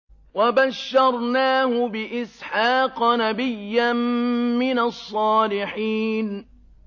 وَبَشَّرْنَاهُ بِإِسْحَاقَ نَبِيًّا مِّنَ الصَّالِحِينَ